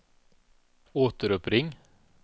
återuppring